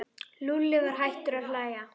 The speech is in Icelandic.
Lúlli var hættur að hlæja.